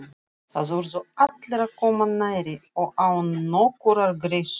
Þar urðu allir að koma nærri og án nokkurrar greiðslu.